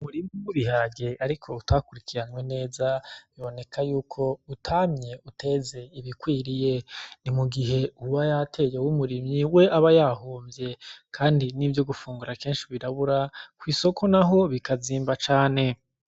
Umurima w'ibiharage, ariko utakurikiranywe neza biboneka yuko utamye uteze ibikwiriye, n'imugihe uwubw yateye w'umurimyi we aba yahomvye, kandi n'ivyo gufungura kenshi birabura kw'isoko naho bikazimba cane.